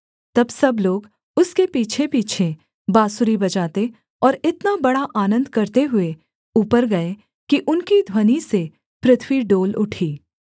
तब सब लोग उसके पीछेपीछे बाँसुरी बजाते और इतना बड़ा आनन्द करते हुए ऊपर गए कि उनकी ध्वनि से पृथ्वी डोल उठी